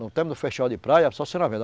No tempo do festival de praia, só a senhora vendo